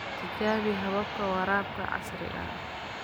Tijaabi hababka waraabka casriga ah.